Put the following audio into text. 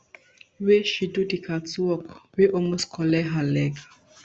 wey she do di catwalk wey almost collect her leg